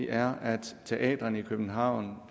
er at teatrene i københavn